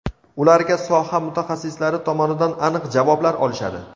ularga soha mutaxassislari tomonidan aniq javoblar olishadi.